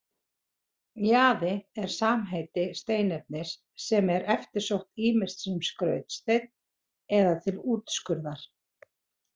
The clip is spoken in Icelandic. Jaði er samheiti steinefnis sem er eftirsótt ýmist sem skrautsteinn eða til útskurðar.